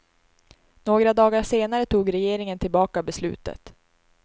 Några dagar senare tog regeringen tillbaka beslutet.